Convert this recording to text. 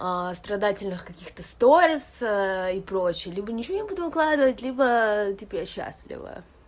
страдательных каких-то сторец и прочее либо ни чё не буду выкладывать либо типа я счастлива